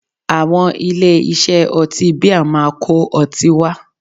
Àwọn ilé-iṣẹ́ ọtí bíà máa kó ọtí wá